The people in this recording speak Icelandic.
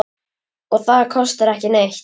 Og það kostar ekki neitt.